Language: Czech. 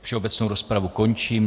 Všeobecnou rozpravu končím.